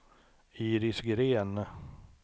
Iris Gren